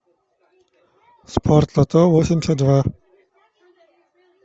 спортлото восемьдесят два